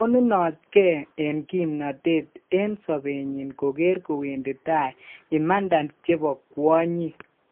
Konunotke eng' kiimnotet eng' sobenyin kogeer kowendi tai haki chebo kwonyik.